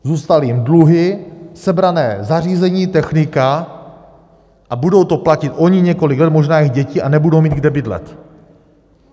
Zůstaly jim dluhy, sebrané zařízení, technika a budou to platit oni několik let, možná jejich děti, a nebudou mít kde bydlet.